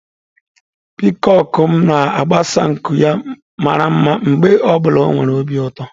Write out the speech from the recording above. Piikoku m na-agbasa nku ya mara mma mgbe ọ bụla ọ nwere obi ụtọ.